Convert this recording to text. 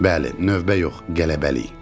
Bəli, növbə yox, qələbəlik.